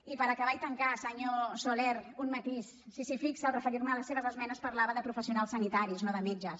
i per acabar i tancar senyor soler un matís si s’hi fixa al referir me a les seves esmenes parlava de professionals sanitaris no de metges